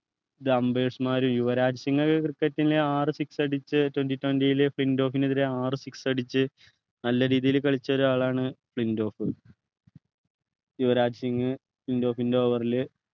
മാര് യുവരാജ് സിംഗ്ഒക്കെ cricket ലെ ആറു six അടിച്ചു twenty twenty ലു ഫ്ലിൻറ്റോഫിനെതിരെ ആറു six അടിച്ചു നല്ല രീതിയിൽ കളിച്ചൊരാളാണ് ഫ്ലിൻറ്റോഫ് യുവരാജ് സിംഗ് ഫ്ലിൻറ്റോഫിൻ്റെ over ൽ